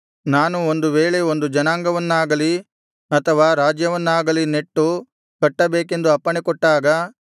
ನಾನು ಒಂದು ವೇಳೆ ಒಂದು ಜನಾಂಗವನ್ನಾಗಲಿ ಅಥವಾ ರಾಜ್ಯವನ್ನಾಗಲಿ ನೆಟ್ಟು ಕಟ್ಟಬೇಕೆಂದು ಅಪ್ಪಣೆಕೊಟ್ಟಾಗ